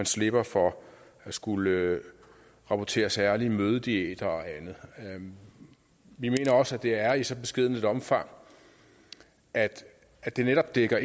slipper for at skulle rapportere særlige mødediæter og andet vi mener også at det er i et så beskedent omfang at at det netop dækker